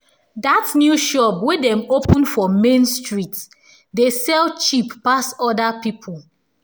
dat new shop wey dem open for main street dey sell cheap pass other people